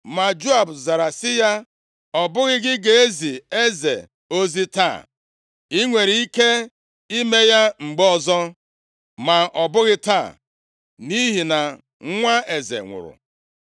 Ma Joab zara sị ya, “Ọ bụghị gị ga-ezi eze ozi taa. I nwere ike ime ya mgbe ọzọ, ma ọ bụghị taa, nʼihi na nwa eze nwụrụ.”